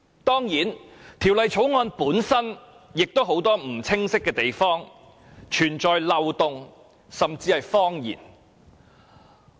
當然，《條例草案》有很多不清晰的地方，也有漏洞甚至謊言。